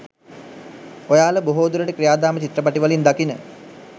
ඔයාලා බොහෝ දුරට ක්‍රියාදාම චිත්‍රපටිවලින් දකින